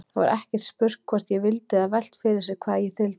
Það var ekkert spurt hvort ég vildi eða velt fyrir sér hvað ég þyldi.